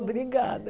Obrigada.